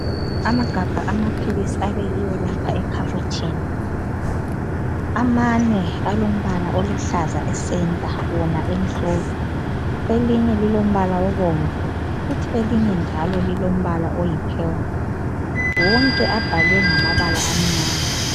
Amagabha amaphilisi abekiwe lapha ekhabothini. Amane alombala oluhlaza ecenter wona emhlophe. Elinye lilombala obomvu kuthi elinye njalo lilombala oyipurple. Wonke abhalwe ngamabala amnyama.